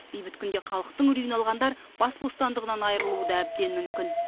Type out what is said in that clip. бейбіт күнде халықтың үрейін алғандар бас бостандығынан айырылуы да әбден мүмкін